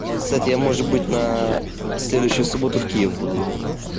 кстати я может быть на следующую субботу в киев буду ехать